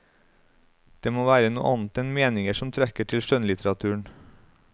Det må være noe annet enn meninger som trekker til skjønnlitteraturen.